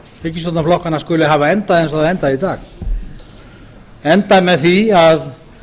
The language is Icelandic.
ríkisstjórnarflokkanna skuli hafa endað eins og það endaði í dag endaði með því að